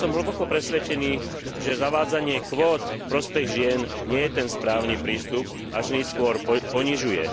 Ale som hlboko presvedčený, že zavádzanie kvót v prospech žien nie je ten správny prístup a ženy skôr ponižuje.